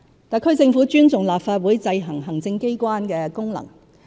特區政府尊重立法會制衡行政機關的功能。